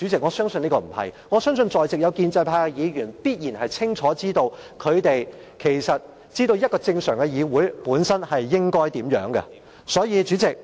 我相信在席建制派議員清楚知道，一個正常議會應該如何運作。